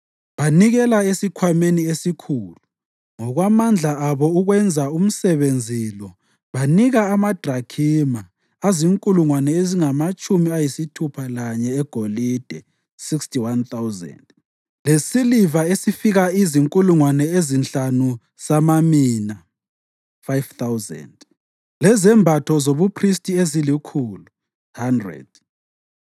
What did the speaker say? Banikela esikhwameni esikhulu ngokwamandla abo ukwenza umsebenzi lo banika amadrakhima azinkulungwane ezingamatshumi ayisithupha lanye egolide (61,000) lesiliva esifika izinkulungwane ezinhlanu samamina (5,000) lezembatho zobuphristi ezilikhulu (100).